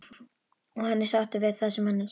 Og hann er sáttur við það sem hann sér.